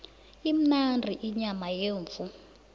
imnandi inyama yemvu